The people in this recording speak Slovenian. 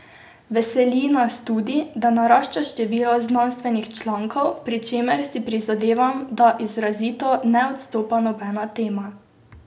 Veseli nas tudi, da narašča število znanstvenih člankov, pri čemer si prizadevam, da izrazito ne izstopa nobena tema.